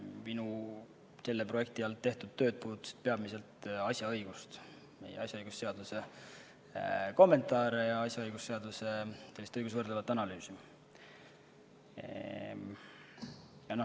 Minu selle projekti raames tehtud tööd puudutasid peamiselt asjaõigust – asjaõigusseaduse kommentaare ja asjaõigusseaduse õigusvõrdlevat analüüsi.